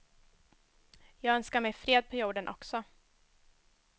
Jag önskar mig fred på jorden också.